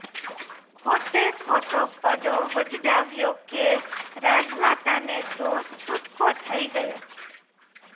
ખોટેખોટો પડો વજડાવ્યો કે રાજમાતાને તો છૂટકો થઇ ગયો